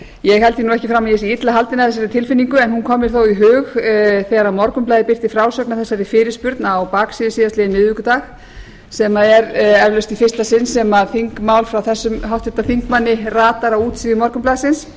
ég held því nú ekki fram að ég sé illa haldin af þessari tilfinningu en hún kom mér þó í hug þegar morgunblaðið birti frásögnina af þessari fyrirspurn á baksíðu síðastliðinn miðvikudag sem er eflaust í fyrsta sinn sem þingmál frá þessum háttvirtum þingmanni ratar á útsíðu morgunblaðsins